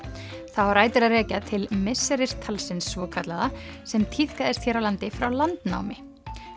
það á rætur að rekja til misseristalsins svokallaða sem tíðkaðist hér á landi frá landnámi